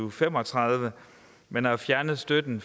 og fem og tredive man har fjernet støtten